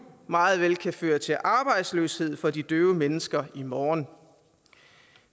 meget vel kan føre til arbejdsløshed for de døve mennesker i morgen